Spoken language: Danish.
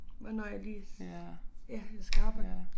Hvornår jeg lige ja skal arbejde